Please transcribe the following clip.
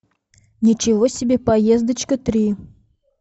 ничего себе поездочка три